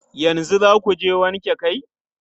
Yanzu za ku je wanke kai?